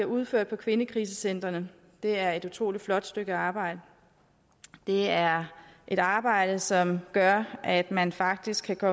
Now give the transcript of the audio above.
udført på kvindekrisecentrene er et utrolig flot stykke arbejde det er et arbejde som gør at man faktisk kan gå